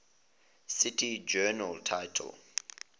cite journal title